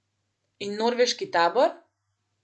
In norveški tabor?